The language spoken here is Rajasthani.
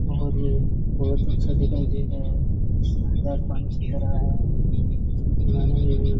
और ये बहुत अच्छा दिखाई दे रहा है बहुत सुंदर पानी चल रहा है इक माइन ये --